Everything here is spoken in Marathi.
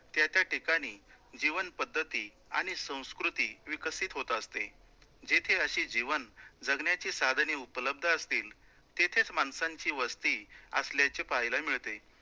त्या त्या ठिकाणी जीवन पद्धती आणि संस्कृती विकसित होतं असते, जिथे असे जीवन जगण्याचे साधने उपलब्ध असतील, तिथेच माणसांची वस्ती असल्याचे पाहायला मिळते.